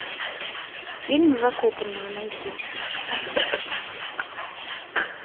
фильм закопанные найти